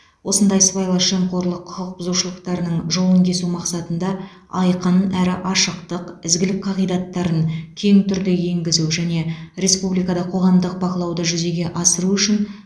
осындай сыбайлас жемқорлық құқық бұзушылықтарының жолын кесу мақсатында айқын әрі ашықтық ізгілік қағидаттарын кең түрде енгізу және республикада қоғамдық бақылауды жүзеге асыру үшін